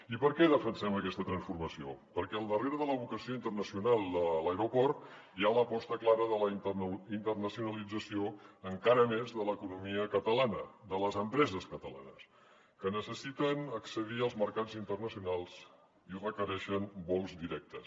i per què defensem aquesta transformació perquè al darrere de la vocació internacional de l’aeroport hi ha l’aposta clara de la internacionalització encara més de l’economia catalana de les empreses catalanes que necessiten accedir als mercats internacionals i requereixen vols directes